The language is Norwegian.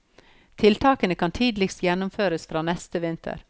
Tiltakene kan tidligst gjennomføres fra neste vinter.